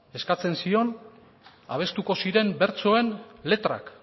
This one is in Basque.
eskatzen zion abestuko ziren bertsoen letrak